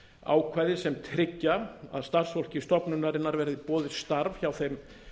ákvæði sem tryggja að starfsfólki stofnunarinnar verði boðið starf hjá þeim